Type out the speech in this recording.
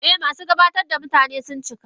Eh, masu gabatar da mutane sun cika.